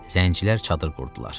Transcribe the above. Zəncilər çadır qurdular.